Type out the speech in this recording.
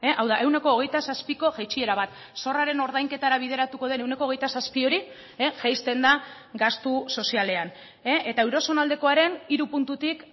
hau da ehuneko hogeita zazpiko jaitsiera bat zorraren ordainketara bideratuko den ehuneko hogeita zazpi hori jaisten da gastu sozialean eta euro zonaldekoaren hiru puntutik